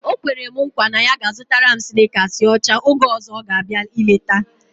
O kwere nkwa na ya ga-azụtara m snikasị ọcha oge ọzọ ọ ga-abịa ileta